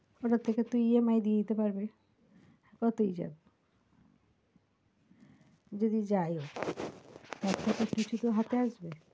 ওটার থেকে তুই EMI দিয়ে দিতে পারবি, কতই যাবে যদি যাই তার থেকে কিছু তো হাতে আসবে,